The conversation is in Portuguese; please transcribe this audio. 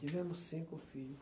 Tivemos cinco filho.